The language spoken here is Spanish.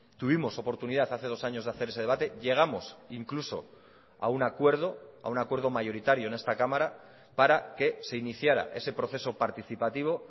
tuvimos oportunidad hace dos años de hacer ese debate llegamos incluso a un acuerdo a un acuerdo mayoritario en esta cámara para que se iniciara ese proceso participativo